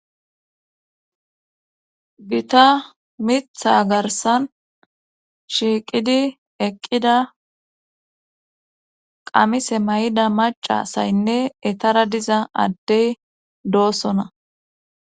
gita miiththa garsan shiiqidi eqqida qamise mayida macasaynne etara diza addey doosona.